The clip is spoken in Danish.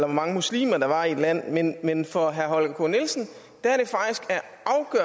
mange muslimer der var i et land men men for herre holger k nielsen